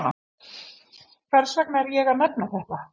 Hvers vegna er ég að nefna þetta?